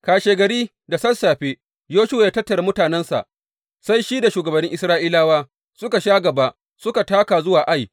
Kashegari da sassafe Yoshuwa ya tattara mutanensa, sai shi da shugabannin Isra’ilawa suka sha gaba suka taka zuwa Ai.